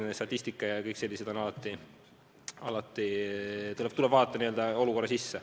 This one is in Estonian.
Seega, statistika puhul tuleb alati vaadata n-ö olukorra sisse.